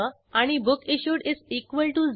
नंतर set checkout interquest method call करू